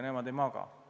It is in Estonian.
Nemad ei maga.